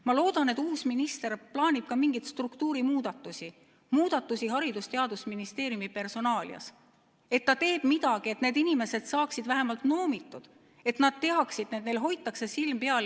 Ma loodan, et uus minister plaanib ka mingeid struktuurimuudatusi Haridus- ja Teadusministeeriumi personalis ning teeb midagi, et need inimesed saaksid vähemalt noomitud, et nad teaksid: neil hoitakse silm peal.